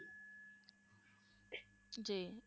ਜੀ